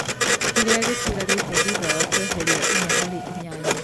kĩrĩa gĩtigarĩte thutha wa kweheria inya harĩ inyanya